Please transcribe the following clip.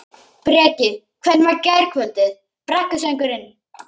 Breki: Hvernig var gærkvöldið, brekkusöngurinn?